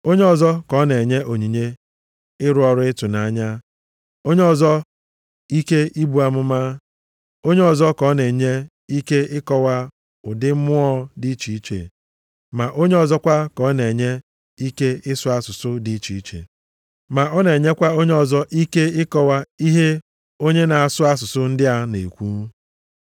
Onye ọzọ ka ọ na-enye onyinye ịrụ ọrụ ịtụnanya, onye ọzọ ike ibu amụma. Onye ọzọ ka ọ na-enye ike ịkọwa ụdị mmụọ dị iche iche, ma onye ọzọkwa ka ọ na-enye ike ịsụ asụsụ dị iche iche. Ma ọ na-enyekwa onye ọzọ ike ịkọwa ihe onye na-asụ asụsụ ndị a na-ekwu.